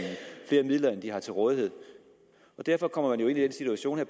flere midler end de har til rådighed derfor kommer de jo i den situation at